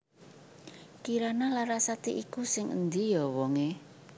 Kirana Larasati iku sing endi yo wong e